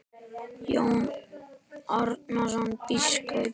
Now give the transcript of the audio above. Jón Arason biskup